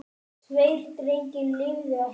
Tveir drengir lifðu ekki.